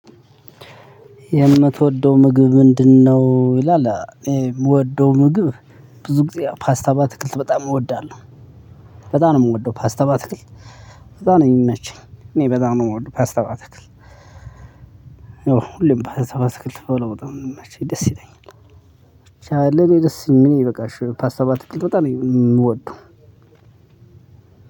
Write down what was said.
የምትወደው ምግብ ምንድነው? ይላል የምወደው ምግብ ብዙ ጊዜ ፓስታ በአትክልት በጣም እወዳለሁ በጣም ነው የምወደው ፓስታ በአትክልት። በጣም ነው የሚመቸኝ እኔ በጣም ነው የምወደው ፓስታ በአትክልት። ሁሌም ፓስታ በአትክልት ብበላ በጣም ነው የሚመቸኝ ደስ ይለኛል። ብቻ ለኔ ደስ የሚለኝ በቃ ፓስታ በአትክልት በጣም ነው የምወደው።